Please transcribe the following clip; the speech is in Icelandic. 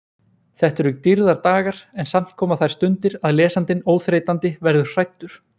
Þetta eru dýrðardagar en samt koma þær stundir að lesandinn óþreytandi verður hræddur.